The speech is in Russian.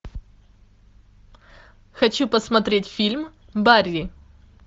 хочу посмотреть фильм барри